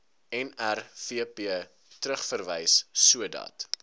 nrvp terugverwys sodat